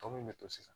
Tɔ min bɛ to sisan